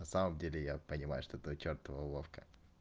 на самом деле я понимаю что это чёртова уловка